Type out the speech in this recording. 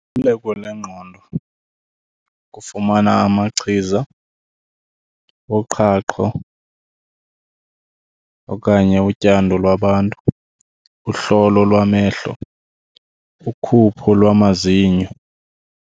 Luleko lwengqondo kufumana amachiza woqhaqho okanye utyando lwabantu, uhlolo lwamehlo, ukhupho lwamazinyo.